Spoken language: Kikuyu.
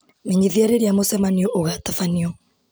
menyithia rĩrĩa mũcemanio ũgatabanio